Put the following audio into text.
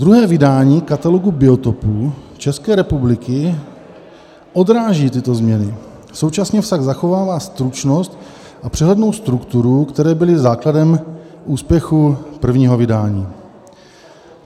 Druhé vydání Katalogu biotopů České republiky odráží tyto změny, současně však zachovává stručnost a přehlednou strukturu, které byly základem úspěchu prvního vydání.